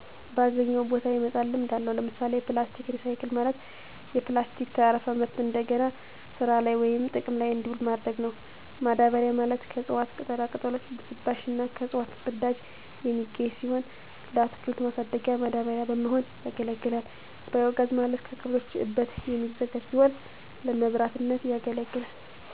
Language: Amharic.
ባገኘው ቦታ የመጣል ልምድ አለው። ለምሣሌ፦ ፕላስቲክ ሪሳይክል፦ ማለት የፕላስቲክ ተረፈ ምርት እደገና ስራላይ ወይም ጥቅም ላይ እዲውሉ ማድረግ ነው። ማዳበሪያ፦ ማለት ከእፅዋት ቅጠላቅጠሎች ብስባሽ እና ከእንስሳት ፅዳጅ የሚገኝ ሲሆን ለአትክልት ማሣደጊያ ማዳበሪያ በመሆን ያገለግላል። ባዬ ጋዝ፦ ማለት ከከብቶች እበት የሚዘጋጅ ቢሆን ለመብራትነት ያገለግላል።